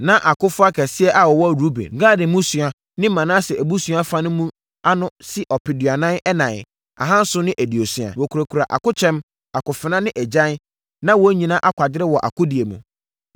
Na akofoɔ akɛseɛ a wɔwɔ Ruben, Gad mmusua ne Manase abusua fa mu no ano si ɔpeduanan ɛnan ahanson ne aduosia. Wɔkurakura akokyɛm, akofena ne agyan, na wɔn nyinaa akwadare wɔ akodie mu.